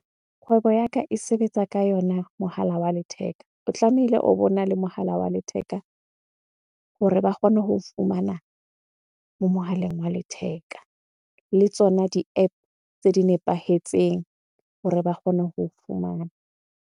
Kgwebo ya ka e sebetsa ka yona mohala wa letheka. O tlamehile o bo na le mohala wa letheka hore ba kgone ho o fumana moo mohaleng wa letheka. Le tsona di-App tse di nepahetseng hore ba kgone ho fumana.